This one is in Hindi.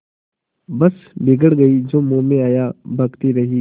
बस बिगड़ गयीं जो मुँह में आया बकती रहीं